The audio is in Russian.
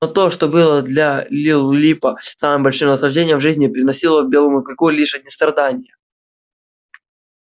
но то что было для лип липа самым большим наслаждением в жизни приносило белому клыку лишь одни страдания